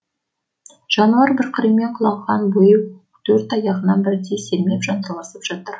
жануар бір қырымен құлаған бойы төрт аяғынан бірдей сермеп жанталасып жатыр